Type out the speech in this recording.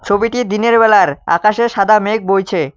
ছবিটি দিনের বেলার আকাশে সাদা মেঘ বইছে।